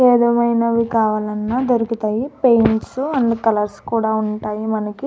ఏవిధమైనవి కావాలన్న దొరుకుతాయి పెయింట్స్ అన్ని కలర్స్ కూడా ఉంటాయి మనకి.